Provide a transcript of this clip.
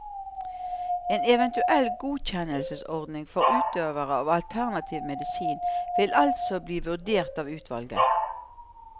En eventuell godkjennelsesordning for utøvere av alternativ medisin vil altså bli vurdert av utvalget.